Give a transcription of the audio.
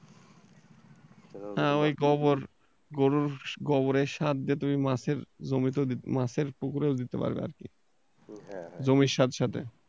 হ্যাঁ ওই গোবর, গরুর গোবরের সার যে তুমি মাছের জমিতেও, মাছের পুকুরেও দিতে পারবে আর কি, জমির সাথে সাথে।